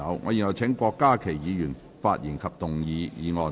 我現在請郭家麒議員發言及動議議案。